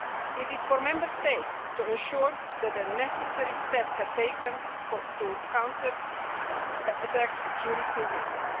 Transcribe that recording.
It is for Member States to ensure that the necessary steps are taken to counter security risks.